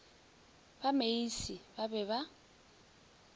ba meisie ba be ba